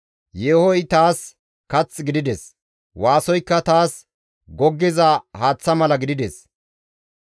Yeehoy taas kath gidides; waasoykka taas goggiza haaththa mala gidides.